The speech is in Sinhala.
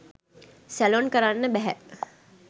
සැලොන් කරන්න බැහැ.